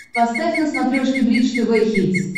поставь на смотрешке бридж тв хитс